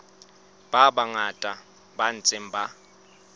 ba bangata ba ntseng ba